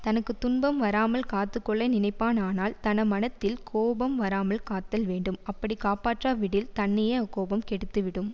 தனக்கு துன்பம் வராமல் காத்து கொள்ள நினைப்பானானால் தன மனத்தில் கோபம் வராமல் காத்தல் வேண்டும் அப்படிக் காப்பாற்றாவிடில் தன்னையே அக்கோபம் கெடுத்துவிடும்